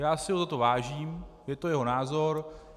Já si ho za to vážím, je to jeho názor.